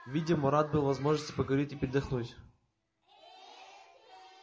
видимо рад был возможности поговорить и передохнуть